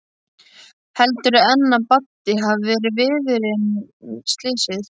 Heldurðu enn að Baddi hafi verið viðriðinn slysið?